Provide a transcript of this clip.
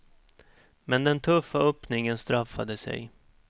Men den tuffa öppningen straffade sig.